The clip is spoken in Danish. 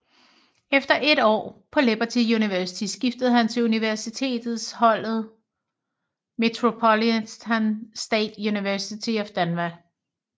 Efter 1 år på Liberty University skiftede han til universitets holdet Metropolitan State University of Denver